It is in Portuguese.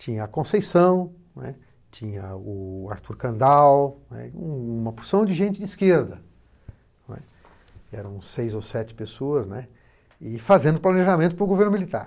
Tinha a Conceição, não é, tinha o Arthur Kandal, não é, uma porção de gente de esquerda, não é, eram seis ou sete pessoas, né, e fazendo planejamento para o governo militar.